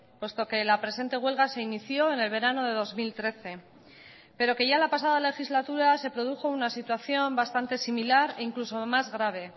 puesto que la presente huelga se inició en el verano de dos mil trece pero que ya la pasada legislatura se produjo una situación bastante similar e incluso más grave